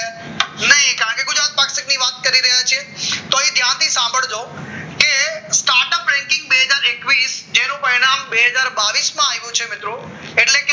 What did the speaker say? નહિ કારણ કે ગુજરાત પ્લાસ્ટિકની વાત કરી રહ્યા છે તો અહીં ત્યાંથી સાંભળજો કે startup banking બે હજાર એકવીસ જેનું પરિણામ બે હજાર બાવીસ માં આવ્યું છે મિત્રો એટલે